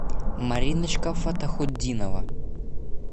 мариночка фаттахутдинова